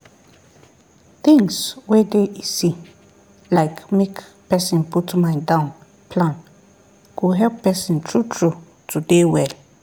things wey dey easy like make person put mind down plan go help person true true to dey well